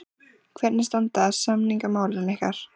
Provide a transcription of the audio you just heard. Hvernig standa samningamálin ykkar?